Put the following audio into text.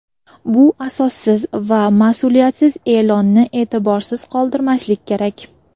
Bu asossiz va masʼuliyatsiz eʼlonni eʼtiborsiz qoldirmaslik kerak.